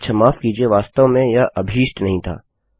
अच्छा माफ़ कीजिये वास्तव में यह अभीष्ट नहीं था